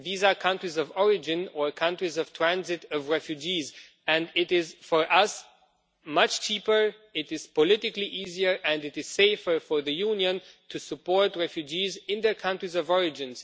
These are countries of origin or countries of transit for refugees, and it is for us much cheaper, it is politically easier and it is safer for the Union to support refugees in their countries of origin.